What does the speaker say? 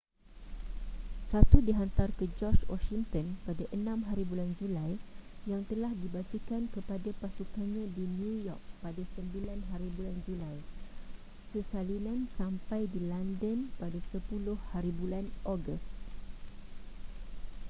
satu dihantar ke george washinton pada 6hb julai yang telah dibacakan kepada pasukannya di new york pada 9hb julai sesalinan sampai di london pada 10hb ogos